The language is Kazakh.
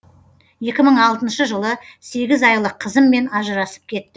екі мың алтыншы жылы сегіз айлық қызыммен ажырасып кет